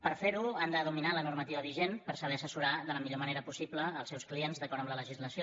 per fer ho han de dominar la normativa vigent per saber assessorar de la millor manera possible els seus clients d’acord amb la legislació